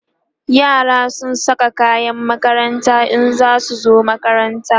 yara zasu Saka kayan makaranta in zasu zo makaranta